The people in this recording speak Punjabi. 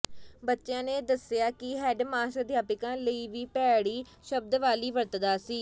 ਬੱਚਿਆਂ ਨੇ ਦੱਸਿਆ ਕਿ ਹੈੱਡ ਮਾਸਟਰ ਅਧਿਆਪਕਾਂ ਲਈ ਵੀ ਭੈੜੀ ਸ਼ਬਦਾਵਲੀ ਵਰਤਦਾ ਸੀ